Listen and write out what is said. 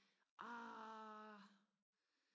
ah